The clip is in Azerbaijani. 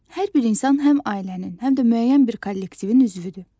Hər bir insan həm ailənin, həm də müəyyən bir kollektivin üzvüdür.